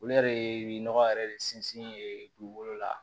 Olu yɛrɛ ye nɔgɔ yɛrɛ de sinsin ye dugukolo la